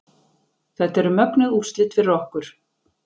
Þetta eru mögnuð úrslit fyrir okkur